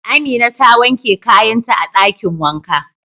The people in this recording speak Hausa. Amina ta wanke kayan ta a dakin wanka.